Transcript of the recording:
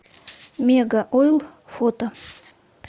мегаойл фото